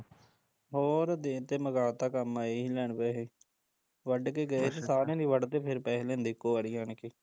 ਹੋਰ ਦੇਤੇ ਮੁਕਾ ਤਾ ਕੰਮ ਆਏ ਸੀ ਲੈਣ ਪੈਸੇ ਵੱਢ ਕੇ ਗਏ ਸੀ ਸਾਰਿਆ ਦੀ ਵੱਢਦੇ ਫੇਰ ਪੈਸੇ ਲੈਂਦੇ ਇੱਕੋ ਵਾਰੀ ਆਣ ਕੇ